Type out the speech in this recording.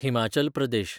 Himachal Pradesh